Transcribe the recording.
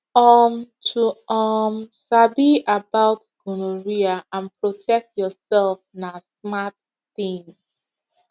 um to um sabi about gonorrhea and protect yourself na smart thing